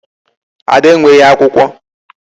Ada enweghị akwụkwọ.